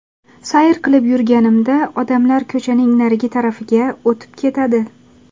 Sayr qilib yurganimda odamlar ko‘chaning narigi tarafiga o‘tib ketadi.